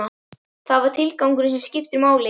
Það er tilgangurinn sem skiptir máli.